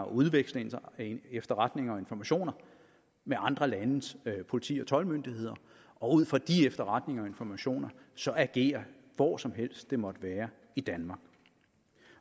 udveksle efterretninger og informationer med andre landes politi og toldmyndigheder og ud fra de efterretninger og informationer så agere hvor som helst det måtte være i danmark